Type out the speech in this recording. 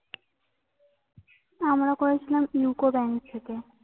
আমরা করেছিলাম UCO bank থেকে।